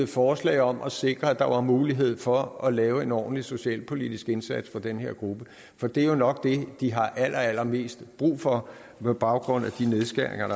forslag om at sikre mulighed for at lave en ordentlig socialpolitisk indsats for den her gruppe for det er jo nok det de har allerallermest brug for på baggrund af de nedskæringer i